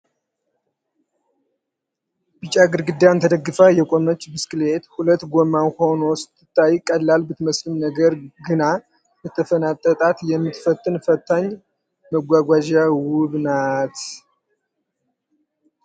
ቢጫ ግርግዳን ተደግፋ የቆመች ብስክሌት ፤ ሁለት ጎማ ሆና ስትታይ ቀላል ብትመስልም ነገር ግና ለተፈናጠጣት የምትፈትን ፈታኝ መጓጓዣ ውብ ናት።